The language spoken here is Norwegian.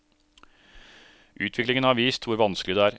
Utviklingen har vist hvor vanskelig det er.